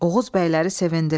Oğuz bəyləri sevindilər.